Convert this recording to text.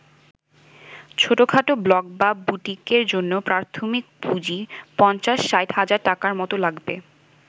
ছোটখাটো ব্লক বা বুটিকের জন্য প্রাথমিক পুঁজি ৫০-৬০ হাজার টাকার মতো লাগবে।